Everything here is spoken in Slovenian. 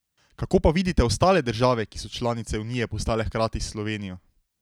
Kako pa vidite ostale države, ki so članice unije postale hkrati s Slovenijo?